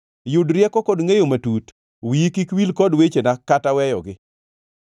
Yud rieko kod ngʼeyo matut, wiyi kik wil kod wechena kata weyogi.